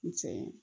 N cɛ ye